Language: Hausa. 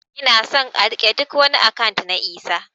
Ina son a rike ɗuk wani akant na Isah